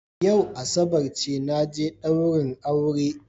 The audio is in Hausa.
Yau asabar naje daurin aure